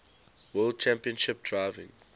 world championship driving